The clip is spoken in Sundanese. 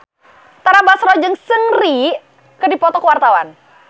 Tara Basro jeung Seungri keur dipoto ku wartawan